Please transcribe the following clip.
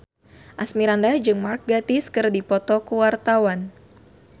Asmirandah jeung Mark Gatiss keur dipoto ku wartawan